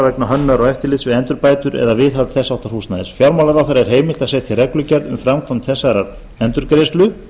vegna hönnunar og eftirlits við endurbætur eða viðhald þess háttar húsnæðis fjármálaráðherra er heimilt að setja reglugerð um framkvæmd þessarar endurgreiðslu